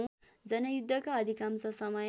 जनयुद्धका अधिकांश समय